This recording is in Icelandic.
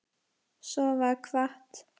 Svo var kvatt.